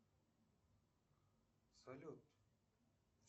салют